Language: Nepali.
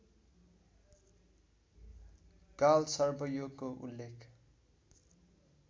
कालसर्पयोगको उल्लेख